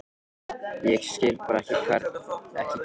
Ég skil bara ekki hvernig þú.